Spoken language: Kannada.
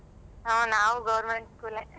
ಹ ನಾವು government school ಏ.